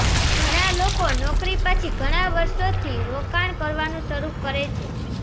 ઘણા લોકો નોકરી પછી ઘણા વર્ષોથી રોકાણ કરવાનું શરૂ કરે છે